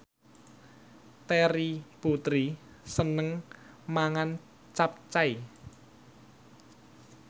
Terry Putri seneng mangan capcay